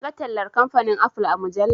Na ga tallar kamfanin"apple"a mujalla.